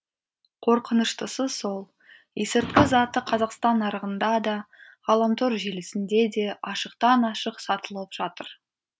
қорқыныштысы сол есірткі заты қазақстан нарығында да ғаламтор желісінде де ашықтан ашық сатылып жатыр